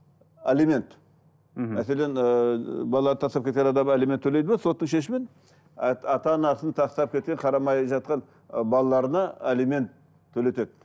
алимент мхм мәселен ыыы балалар тастап кеткен адам алимент төлейді ме соттың шешімін ата анасын тастап кеткен қарамай жатқан і балаларына алимент төлетеді